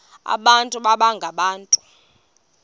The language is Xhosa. abantu baba ngabantu